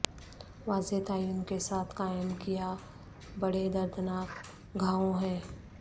واضح تعین کے ساتھ قائم کیا بڑے دردناک گھاووں ہیں